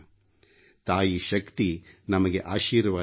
ತಾಯಿ ಶಕ್ತಿ ನಮಗೆ ಆಶೀರ್ವಾದ ನೀಡಲಿ